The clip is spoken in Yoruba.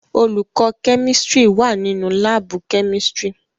Olùkọ́ chemistry wà nínu láàbù chemistry.